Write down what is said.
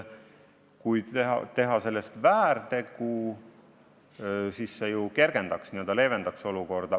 Kui teha sellest väärtegu, siis see ju kergendaks, n-ö leevendaks olukorda.